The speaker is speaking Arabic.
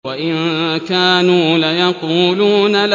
وَإِن كَانُوا لَيَقُولُونَ